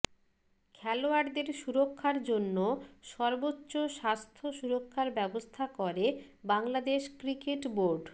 খেলোয়াড়দের সুরক্ষার জন্য সর্বোচ্চ স্বাস্থ্য সুরক্ষার ব্যবস্থা করে বাংলাদেশ ক্রিকেট বোর্ড